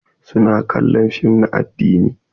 Su na kallon fim na addini.